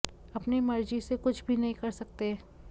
अपनी मर्जी से कुछ भी नहीं कर सकते